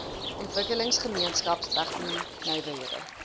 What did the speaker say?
ontwikkelingsgemeenskap tegno nywerhede